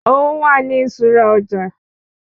Owó wà ní iṣura ọjà